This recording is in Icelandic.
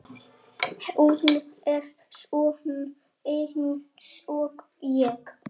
Hún er sönn einsog ég.